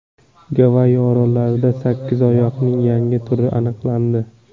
Gavayi orollarida sakkizoyoqning yangi turi aniqlandi .